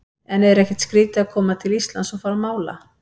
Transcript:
En er ekkert skrítið að koma til Íslands og fara að mála?